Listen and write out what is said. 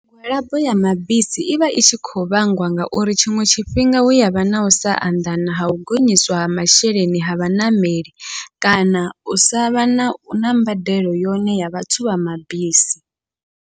Migwalabo ya mabisi ivha i tshi khou vhangwa ngauri tshiṅwe tshifhinga hu yavha na usa anḓana ha u gonyiswa ha masheleni ha vhaṋameli, kana u savha na na mbadelo yone ya vhathu vha mabisi.